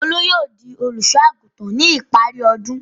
Olú yóò di olùṣọ́-àgùntàn ní ipari ọdún.